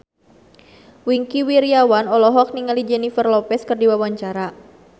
Wingky Wiryawan olohok ningali Jennifer Lopez keur diwawancara